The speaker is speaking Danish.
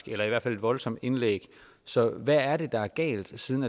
eller i hvert fald et voldsomt indlæg så hvad er det der er galt siden